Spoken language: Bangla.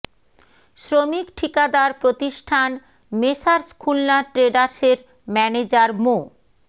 শ্রমিক ঠিকাদার প্রতিষ্ঠান মেসার্স খুলনা ট্রেডার্স এর ম্যানেজার মো